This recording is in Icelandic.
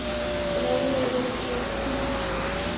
Bráðum verð ég hvítur.